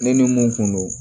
Ne ni mun kun don